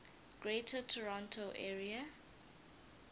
greater toronto area